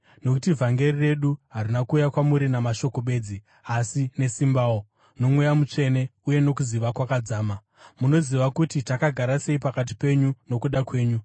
nokuti vhangeri redu harina kuuya kwamuri namashoko bedzi, asi nesimbawo, noMweya Mutsvene uye nokuziva kwakadzama. Munoziva kuti takagara sei pakati penyu nokuda kwenyu.